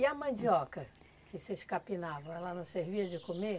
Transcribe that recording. E a mandioca que vocês carpinavam, ela não servia de comer?